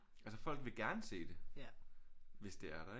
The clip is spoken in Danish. Altså folk vil gerne se det hvis det er der ikke